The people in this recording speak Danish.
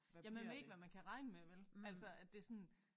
Ja man ved ikke hvad man kan regne med vel? Altså at det sådan